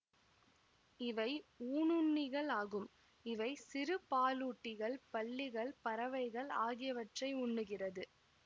இவை ஊணுண்ணிகள் ஆகும் இவை சிறு பாலூட்டிகள் பல்லிகள் பறவைகள் ஆகியவற்றை உண்கிறது